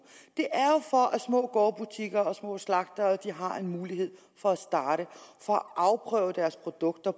det er jo for at små gårdbutikker og små slagtere har en mulighed for at starte og afprøve deres produkter